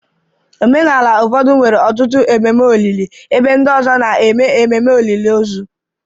Omenala ụfọdụ nwere ọtụtụ ememe olili, ebe ndị ọzọ na-eme ememe olili ozu.